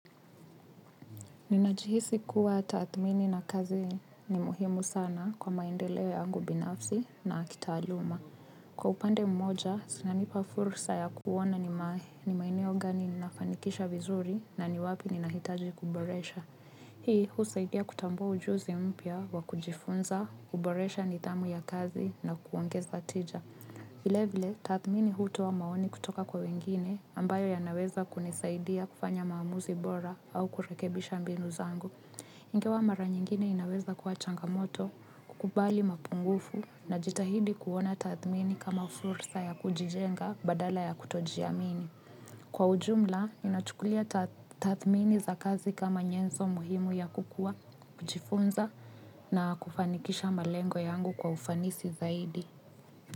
Ninajihisi kuwa tathmini na kazi ni muhimu sana kwa maendeleo yangu binafsi na kitaaluma. Kwa upande mmoja, zinanipa fursa ya kuona ni maeneo maeneo gani nafanikisha vizuri na ni wapi ninahitaji kuboresha. Hii, husaidia kutambua ujuzi mpya wa kujifunza, kuboresha nidhamu ya kazi na kuongeza tija. Vile vile tathmini hutoa maoni kutoka kwa wengine ambayo yanaweza unisadiia kufanya maamuzi bora au kurekebisha mbinu zangu. Ingawa mara nyingine inaweza kwa changamoto, kukubali mapungufu najitahidi kuona tathmini kama fursa ya kujijenga badala ya kutojiamini. Kwa ujumla, inachukulia tathmini za kazi kama nyenzo muhimu ya kukua, kujifunza na kufanikisha malengo yangu kwa ufanisi zaidi.